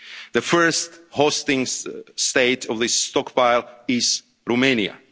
camps. The first hosting state of this stockpile